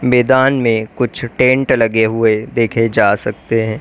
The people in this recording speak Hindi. मैदान में कुछ टेंट लगे हुए देखे जा सकते हैं।